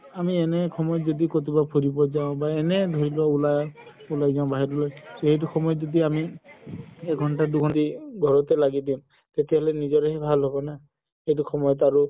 আমি এনে সময়ত যদি কৰবাত ফুৰিব যাও বা এনে ধৰি লো উলাই, উলাই যাও বাহিৰত লই এইটো সময়ত যদি আমি এঘন্তা দুঘন্তা ঘৰতে লাগি দিও তেতিয়া হ'লে নিজৰে ভাল হ'ব না এইটো সময়ত আৰু